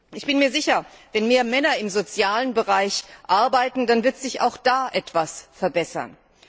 Ich bin mir sicher Wenn mehr Männer im sozialen Bereich arbeiten, dann wird sich auch da etwas verbessern.